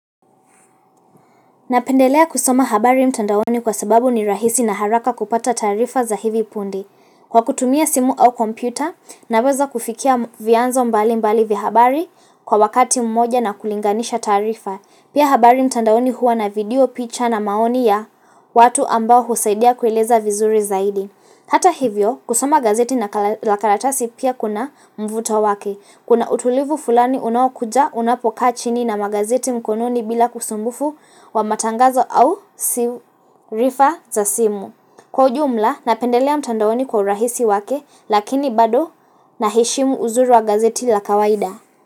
Napendelea kusoma habari mtandaoni kwa sababu ni rahisi na haraka kupata taarifa za hivi punde. Kwa kutumia simu au kompyuta, naweza kufikia vianzo mbali mbali vya habari kwa wakati mmoja na kulinganisha taarifa. Pia habari mtandaoni huwa na video, picha na maoni ya watu ambao husaidia kueleza vizuri zaidi. Hata hivyo, kusoma gazeti na lakaratasi pia kuna mvuto wake. Kuna utulivu fulani unaokuja unapokaa chini na magazeti mkononi bila usumbufu wa matangazo au sirifa za simu. Kwa ujumla napendelea mtandaoni kwa urahisi wake lakini bado na heshimu uzuri wa gazeti la kawaida.